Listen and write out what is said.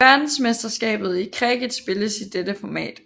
Verdensmesterskabet i cricket spilles i dette format